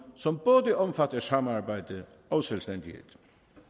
som både omfatter samarbejde og selvstændighed